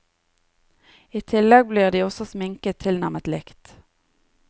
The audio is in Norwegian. I tillegg blir de også sminket tilnærmet likt.